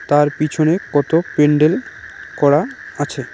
তার পেছরে কত পেনডেল করা আছে।